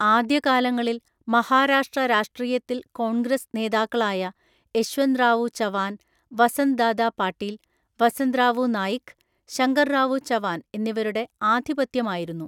ആദ്യകാലങ്ങളിൽ മഹാരാഷ്ട്ര രാഷ്ട്രീയത്തിൽ കോൺഗ്രസ് നേതാക്കളായ യശ്വന്ത്റാവു ചവാൻ, വസന്ത്ദാദാ പാട്ടീൽ, വസന്ത്റാവു നായിക്, ശങ്കർറാവു ചവാൻ എന്നിവരുടെ ആധിപത്യമായിരുന്നു.